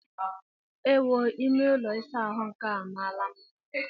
Ewoo! Ime ụlọ ịsa ahụ nke a amaala mma!